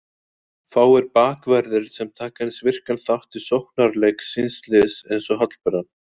Fáir bakverðir sem taka eins virkan þátt í sóknarleik síns liðs eins og Hallbera.